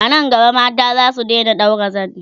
anan gaba mata zasu Daina ɗaura zani